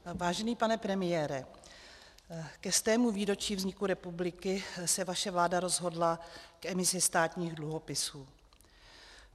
Vážený pane premiére, ke 100. výročí vzniku republiky se vaše vláda rozhodla k emisi státních dluhopisů.